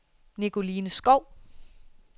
Nicoline Skov